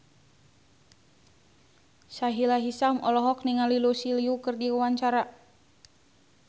Sahila Hisyam olohok ningali Lucy Liu keur diwawancara